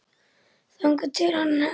Þangað til hann hnerrar næst.